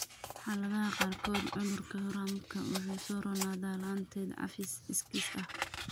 Xaaladaha qaarkood, cudurka Gorhamka wuu soo roonaadaa la'aanteed (cafis iskiis ah).